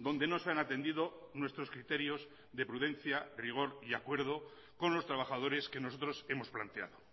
donde no se han atendido nuestros criterios de prudencia rigor y acuerdo con los trabajadores que nosotros hemos planteado